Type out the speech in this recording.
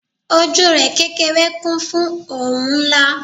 ojú rẹ kékeré kún fún oun nla